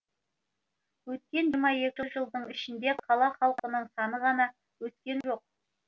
өткен жиырма екі жылдың ішінде қала халқының саны ғана өскен жоқ